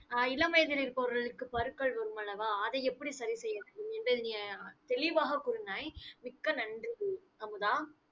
அஹ் இளம் வயதில் இருப்பவர்களுக்கு பருக்கள் வரும் அல்லவா அதை எப்படி சரி தெளிவாகக் கூறினாய். மிக்க நன்றி. அமுதா